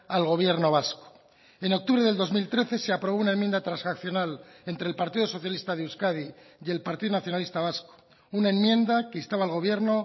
al gobierno vasco en octubre del dos mil trece se aprobó una enmienda transaccional entre el partido socialista de euskadi y el partido nacionalista vasco una enmienda que instaba al gobierno